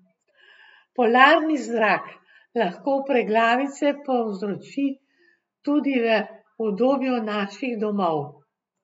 Polarni zrak lahko preglavice povzroči tudi v udobju naših domov.